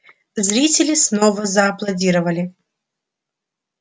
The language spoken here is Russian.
зрители снова зааплодировали